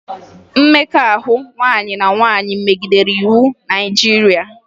Mmekọahụ nwaanyị na nwaanyị megidere iwu Naịjirịa